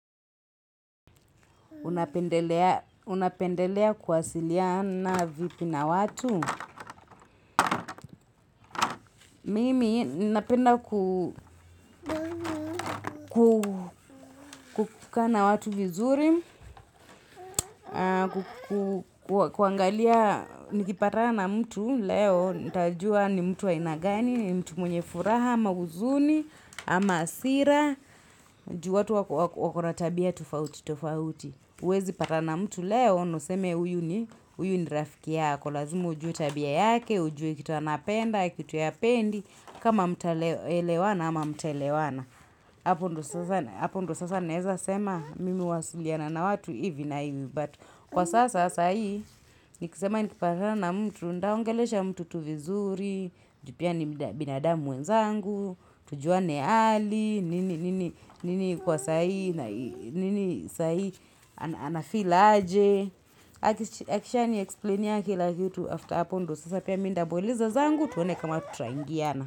Unapendelea kuwasiliana vipi na watu. Mimi napenda kukaa na watu vizuri, kuangalia nikipatana na mtu leo. Nitajua ni mtu wa aina gani, ni mtu mwenye furaha, ama huzuni, ama hasira, juu watu wako na tabia tofauti tofauti. Huwezi patana na mtu leo, na useme huyu ni rafiki yako. Kwa lazima ujue tabia yake, ujue kitu anapenda, kitu hapendi. Kama mtaelewana ama hamtaelewana. Hapo ndio sasa naeza sema mimi huwasiliana na watu hivi na hivi. Kwa sasa, sahizi, nikisema nikipatana na mtu. Nitaongelesha mtu tu vizuri, ju pia ni binadamu mwenzangu, tujuane hali. Nini kwa sahizi na nini sahizi anafeel aje Akishaniexplainia kila kitu after hapo ndio sasa pia mimi nitamuuliza zangu tuone kama tutaingiana.